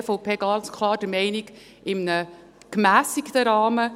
und da ist die Fraktion EVP ganz klar der Meinung, in einem gemässigten Rahmen.